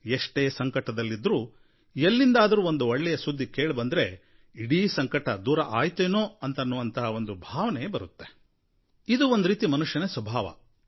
ಎಷ್ಟೇ ಸಂಕಟದಲ್ಲಿದ್ದರೂ ಎಲ್ಲಿಂದಾದರೂ ಒಂದು ಒಳ್ಳೆಯ ಸುದ್ದಿ ಕೇಳಿಬಂದರೆ ಇಡೀ ಸಂಕಟ ದೂರ ಆಯ್ತೇನೋ ಅನ್ನೋ ತರಹ ಭಾವನೆ ಬರುತ್ತೆ ಇದು ಒಂದು ರೀತಿ ಮನುಷ್ಯನ ಸ್ವಭಾವ